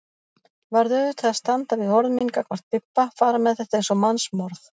Varð auðvitað að standa við orð mín gagnvart Bibba, fara með þetta eins og mannsmorð.